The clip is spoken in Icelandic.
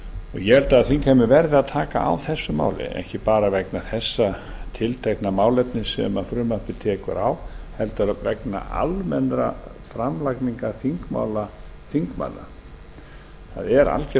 ég held að þingheimur verði að taka á þessu máli ekki bara vegna þessa tiltekna málefnis sem frumvarpið tekur á heldur vegna almennrar framlagningar þingmála þingmanna það er algerlega